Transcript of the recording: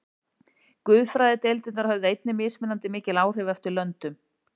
Guðfræðideildirnar höfðu einnig mismunandi mikil áhrif eftir löndum.